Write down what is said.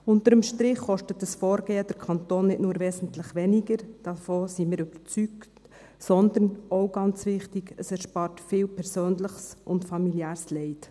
Unter dem Strich kostet dieses Vorgehen den Kanton nicht nur wesentlich weniger – davon sind wir überzeugt –, sondern – auch ganz wichtig – es erspart viel persönliches und familiäres Leid.